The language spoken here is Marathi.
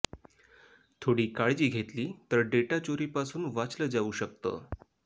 थोडी काळजी घेतली तर डेटा चोरीपासून वाचलं जावू शकतं